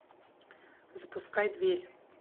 запускай дверь